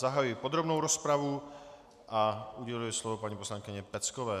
Zahajuji podrobnou rozpravu a uděluji slovo paní poslankyni Peckové.